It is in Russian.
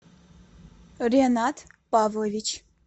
ренат павлович